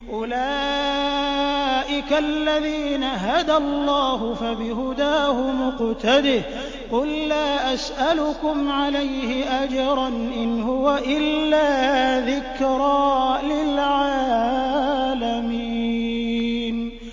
أُولَٰئِكَ الَّذِينَ هَدَى اللَّهُ ۖ فَبِهُدَاهُمُ اقْتَدِهْ ۗ قُل لَّا أَسْأَلُكُمْ عَلَيْهِ أَجْرًا ۖ إِنْ هُوَ إِلَّا ذِكْرَىٰ لِلْعَالَمِينَ